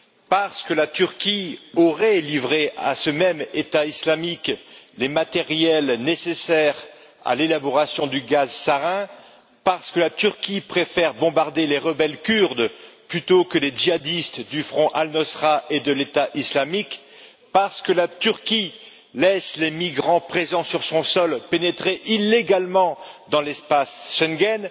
parce que la Turquie aurait livré à ce même État islamique des matériels nécessaires à l'élaboration du gaz sarin, parce que la Turquie préfère bombarder les rebelles kurdes plutôt que les djihadistes du Front Al Nosra et de l'État islamique, parce que la Turquie laisse les migrants présents sur son sol pénétrer illégalement dans l'espace Schengen,